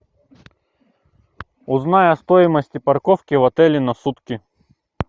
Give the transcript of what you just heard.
узнай о стоимости парковки в отеле на сутки